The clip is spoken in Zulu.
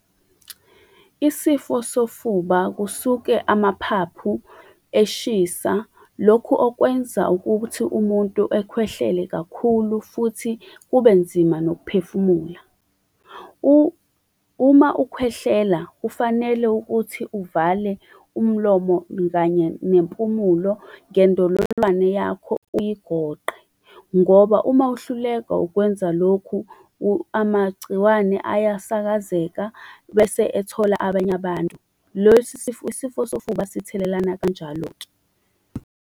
Isifo sofuba kusuke amaphaphu eshisa lokhu okwenza ukuthi umuntu ekhwehlele kakhulu, futhi kube nzima nokuphefumula. Uma ukhwehlela kufanele ukuthi uvale umlomo kanye nempumulo ngendololwane yakho uyigoqe. Ngoba uma uhluleka ukwenza lokhu, amagciwane ayasakazeka, bese ethola abanye abantu. Isifo sofuba sithelelana kanjalo-ke.